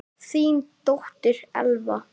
Þín dóttir, Elfa.